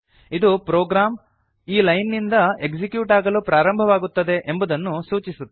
ಇದು ಪ್ರೊಗ್ರಾಮ್ ಈ ಲೈನ್ ಇಂದ ಎಕ್ಸಿಕ್ಯೂಟ್ ಆಗಲು ಪ್ರಾರಂಭವಾಗುತ್ತದೆ ಎಂಬುದನ್ನು ಸೂಚಿಸುತ್ತದೆ